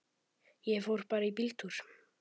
Ég fór bara í bíltúr.